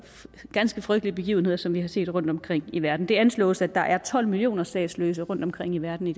ganske frygtelige begivenheder som vi har set rundtomkring i verden det anslås at der er tolv millioner statsløse rundtomkring i verden i